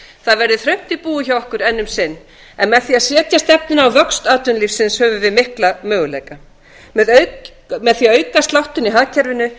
það verður þröngt í búi hjá okkur enn um sinn en með því að setja stefnuna á vöxt atvinnulífsins höfum við mikla möguleika með því að auka sláttinn í hagkerfinu